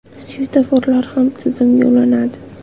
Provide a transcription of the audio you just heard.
Svetoforlar ham tizimga ulanadi.